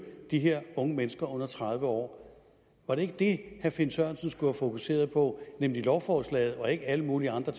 de her unge mennesker under tredive år var det ikke det herre finn sørensen skulle have fokuseret på nemlig lovforslaget og ikke alle mulige andre